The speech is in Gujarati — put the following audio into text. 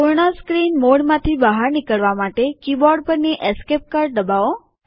પૂર્ણ સ્ક્રીન મોડમાંથી બહાર નીકળવા માટે કીબોર્ડ પરની એસકેપ કળ દબાવો